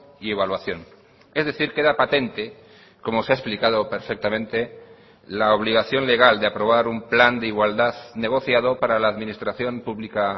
y evaluación es decir queda patente como se ha explicado perfectamente la obligación legal de aprobar un plan de igualdad negociado para la administración pública